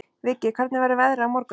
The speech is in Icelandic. Viggi, hvernig verður veðrið á morgun?